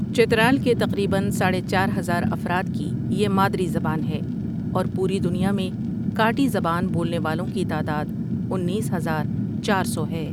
چترال کے تقریبا ساڑے چار ہزار افراد کی یہ مادری زبان ہے اور پوری دنیا میں کاٹی زبان بولنے والوں کی تعداد انیس ہزار چار سو ہے